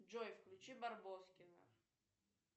джой включи барбоскиных